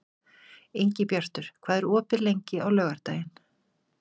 Ingibjartur, hvað er opið lengi á laugardaginn?